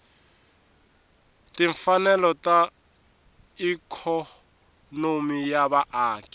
timfanelo ta ikhonomi ya vaaki